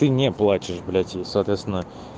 ты мне не плачешь блять соответственно